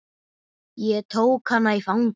Ég tók hana í fangið.